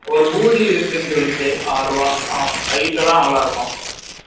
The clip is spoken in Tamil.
ஒரு பூதி இருக்குனு சொல்லுச்சு ஆரு ருவா height எல்லாம் நல்லா இருக்கும்